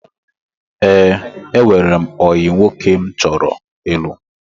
Ee, enwere m ọyị nwoke m chọrọ ịlụ.